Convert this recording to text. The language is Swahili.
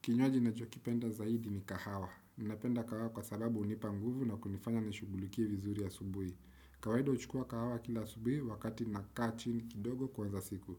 Kinywaji nachokipenda zaidi ni kahawa. Nnapenda kahawa kwa sababu unipa nguvu na kunifanya nishugulikie vizuri a subuhi. Kawahida uchukua kahawa kila asubuhi wakati na kati na kaa chini kidogo kwanza siku.